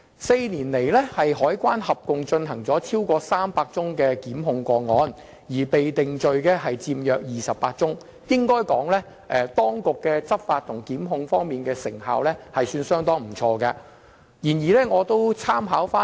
四年來，香港海關共提出了超過300宗檢控個案，約28宗被定罪，可以說當局執法及檢控方面的成效相當不俗。